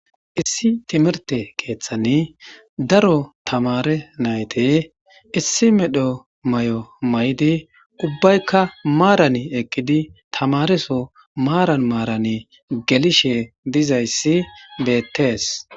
Issi timirte keeththani daro tamaare nayti issi medho mayo mayidi ubbaykka maaran eqqidi tamare soo maaran maaran gelishe dizayssi beettees.